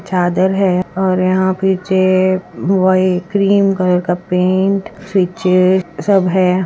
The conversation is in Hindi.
चादर है और यहां पे चेय क्रीम कलर का पैंट स्वीच सब है ।